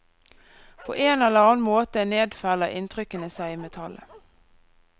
På en eller annen måte nedfeller inntrykkene seg i metallet.